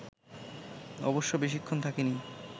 অবশ্য বেশিক্ষণ থাকে নি